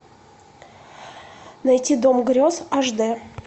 найти дом грез ашди